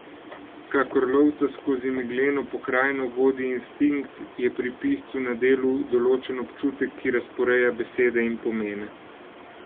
Kakor lovca skozi megleno pokrajino vodi instinkt, je pri piscu na delu določen občutek, ki razporeja besede in pomene.